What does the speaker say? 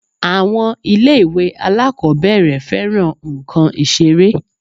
Àwọn ilé-ìwé alákọ̀ọ́bẹ̀rẹ̀ fẹ́ran nǹkan Ìṣeré